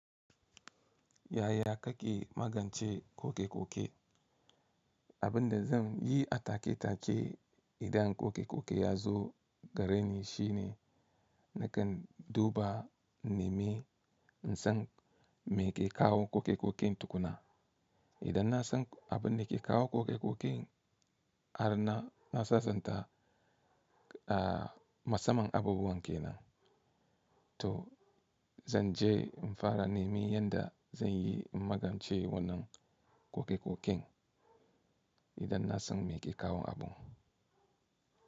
Yaya ke magance ƙoƙe-ƙoƙe? Abin da zan yi a take take idan ƙoƙe-ƙoƙe ya zo gareni shine nakan duba nimi in san me ke kawo ƙoƙe-ƙoƙen tukuna. Idan na san abin da ke kawo ƙoƙe-ƙoƙen, ana nasasanta a matsaman abubuwan ke nan. To zan je in fara nemi yadda zan yi in magance wannan ƙoƙe-ƙoƙen idan na san me ke kawo abun.